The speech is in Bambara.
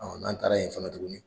n'an taara yen fana tuguni